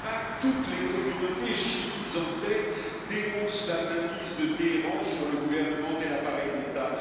En Irak, toutes les communautés, chiites en tête, dénoncent la mainmise de Téhéran sur le gouvernement et l'appareil d'État.